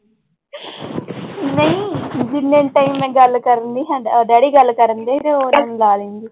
ਨਹੀਂ ਜਿੰਨੇ ਤਾਈਂ ਮੈਂ ਗੱਲ ਕਰਨੀ daddy ਗੱਲ ਕਰਦੇ ਤੇ ਉਹ ਲਾ ਲੈਂਦੀ।